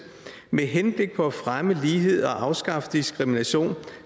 med henblik på at fremme lighed og afskaffe diskrimination